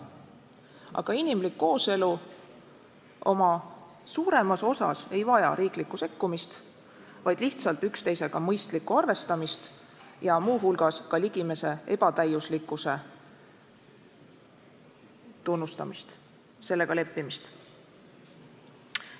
Aga inimlik kooselu oma suuremas osas ei vaja riiklikku sekkumist, vaid lihtsalt üksteisega mõistlikku arvestamist ja muu hulgas ka ligimese ebatäiuslikkuse tunnustamist, sellega leppimist.